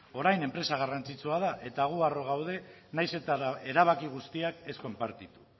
orain enpresa garrantzitsua da eta gu harro gaude nahiz eta erabaki guztiak ez konpartitu